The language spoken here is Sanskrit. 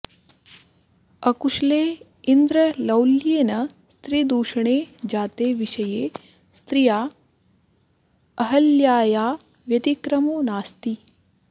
अकुशले इन्द्रलौल्येन स्त्रीदूषणे जाते विषये स्त्रिया अहल्याया व्यतिक्रमो नास्ति